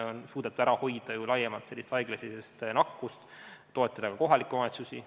On suudetud ära hoida laiemat haiglasisest nakkust, samas toetada kohalikke omavalitsusi.